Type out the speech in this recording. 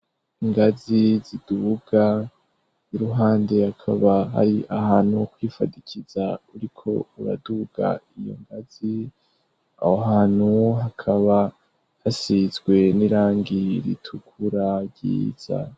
Ingazi ziduga iruhande hakaba ari ahantu kwifadikiza uriko uraduga iyo ngazi; aho hantu hakaba hasizwe n'irangi ritukura ryiza.